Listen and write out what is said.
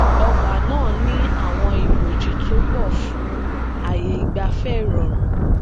ọgba naa ni awọn iboji to pọ fun aaye igbafẹ irọrun